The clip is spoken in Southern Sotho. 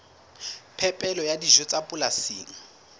phepelo ya dijo tsa polasing